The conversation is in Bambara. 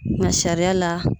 ŋa sariya la